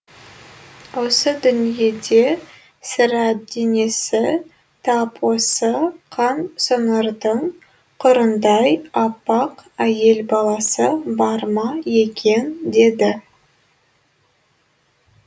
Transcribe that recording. осы дүниеде сірә денесі тап осы қан сонардың қырындай аппақ әйел баласы бар ма екен деді